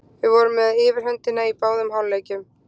Við vorum með yfirhöndina í báðum hálfleikjunum.